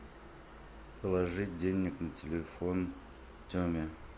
положить денег на телефон теме